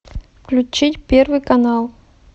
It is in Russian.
включить первый канал